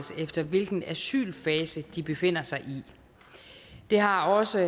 efter hvilken asylfase de befinder sig i det har også